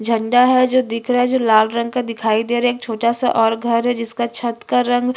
झंडा है जो दिख रहा है लाल रंग का दिखाई दे रहा है एक छोटा सा और घर है जिसका छत का रंग --